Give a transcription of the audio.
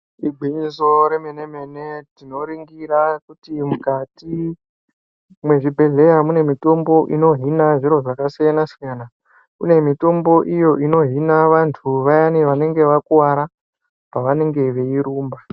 Igwinyiso remene mene tinoningira kuti mukati mezvibhedhlera mune mutombo uno hina zviro zvakasiyana siyana. Uye mitombo iyi inohina vantu vayani vanenge vakuwara pavanenge veirumba.